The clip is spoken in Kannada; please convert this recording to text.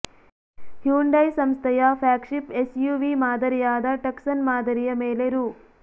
ಹ್ಯುಂಡೈ ಸಂಸ್ಥೆಯ ಫ್ಯಾಗ್ಶಿಫ್ ಎಸ್ಯುವಿ ಮಾದರಿಯಾದ ಟಕ್ಸನ್ ಮಾದರಿಯ ಮೇಲೆ ರೂ